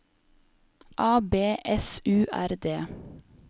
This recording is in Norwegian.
A B S U R D